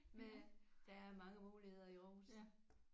Der er mange muligheder i Aarhus